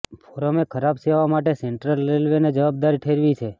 ફોરમે ખરાબ સેવા માટે સેન્ટ્રલ રેલવેને જવાબદાર ઠેરવી છે